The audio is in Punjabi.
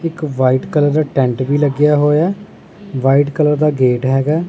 ਇੱਕ ਵ੍ਹਾਈਟ ਕਲਰ ਦਾ ਟੈਂਟ ਵੀ ਲੱਗਿਆ ਹੋਇਆ ਵ੍ਹਾਈਟ ਕਲਰ ਦਾ ਗੇਟ ਹੈਗਾ।